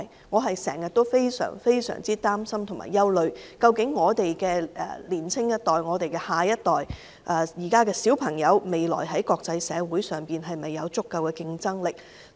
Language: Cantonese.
我非常擔心和憂慮，究竟年輕一代和現時的小朋友，未來在國際社會上有否足夠競爭力。